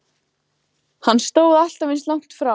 Hann stóð alltaf eins langt frá